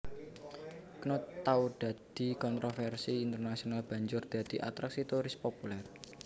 Knut tau dadi kontrovèrsi internasional banjur dadi atraksi turis populèr